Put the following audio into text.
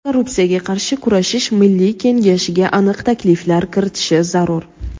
Korrupsiyaga qarshi kurashish milliy kengashiga aniq takliflar kiritishi zarur.